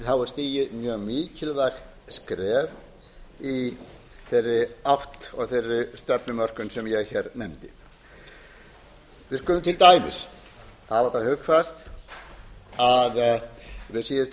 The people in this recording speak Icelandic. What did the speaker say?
er stigið mjög mikilvægt skref í þeirri stefnumörkun sem ég nefndi við skulum til dæmis hafa það hugfast að við síðustu